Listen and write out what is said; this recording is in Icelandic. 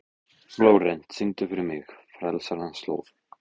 Flórent, syngdu fyrir mig „Frelsarans slóð“.